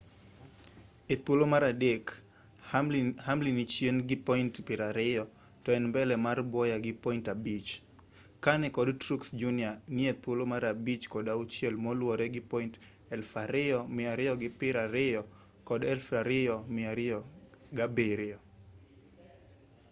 e thuolo mar adek hamlin ni chien gi point piero ariyo to en mbele mar bowyer gi point abich kahne kod truex jr ni e thuolo mar abich kod auchiel moluwore gi point 2,220 kod 2,207